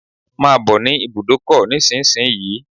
Come to the bus stop now